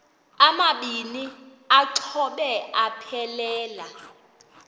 amabini exhobe aphelela